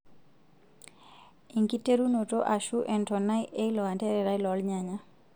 Enkiterunoto ashuu entonai eilo antererai loo rnyanya.